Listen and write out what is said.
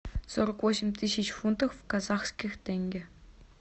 сорок восемь тысяч фунтов в казахских тенге